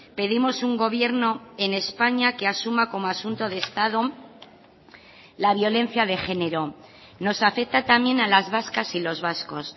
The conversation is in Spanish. pedimos un gobierno en españa que asuma como asunto de estado la violencia de género nos afecta también a las vascas y los vascos